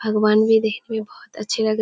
भगवान भी देखने में बहुत अच्छे लग --